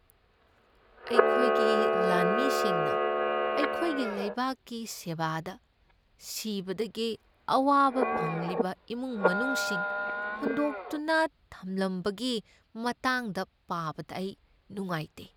ꯑꯩꯈꯣꯏꯒꯤ ꯂꯥꯟꯃꯤꯁꯤꯡꯅ ꯑꯩꯈꯣꯏꯒꯤ ꯂꯩꯕꯥꯛꯀꯤ ꯁꯦꯕꯥꯗ ꯁꯤꯕꯗꯒꯤ ꯑꯋꯥꯕ ꯐꯪꯂꯤꯕ ꯏꯃꯨꯡ ꯃꯅꯨꯡꯁꯤꯡ ꯍꯨꯟꯗꯣꯛꯇꯨꯅ ꯊꯝꯂꯝꯕꯒꯤ ꯃꯇꯥꯡꯗ ꯄꯥꯕꯗ ꯑꯩ ꯅꯨꯡꯉꯥꯏꯇꯦ꯫